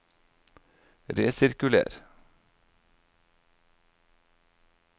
resirkuler